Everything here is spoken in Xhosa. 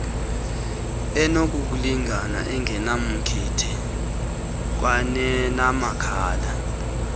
enokulingana engenamkhethe kwanenamabakala